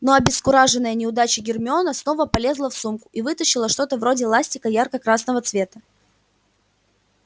но обескураженная неудачей гермиона снова полезла в сумку и вытащила что-то вроде ластика ярко-красного цвета